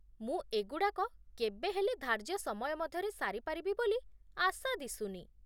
ମୁଁ ଏଗୁଡ଼ାକ କେବେହେଲେ ଧାର୍ଯ୍ୟ ସମୟ ମଧ୍ୟରେ ସାରିପାରିବି ବୋଲି ଆଶା ଦିଶୁନି